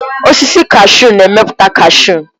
Osisi kashu na-emepụta kashu.